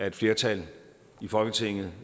et flertal i folketinget